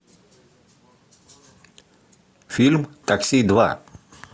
фильм такси два